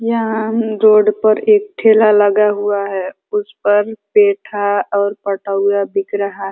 यहाँ रोड पर एक ठेला लगा हुआ है। उस पर पेठा और पटौवा बिक रहा --